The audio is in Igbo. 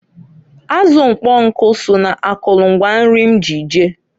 Azụ ụkpọnkụ so na akụlụ ngwa nri m ji je.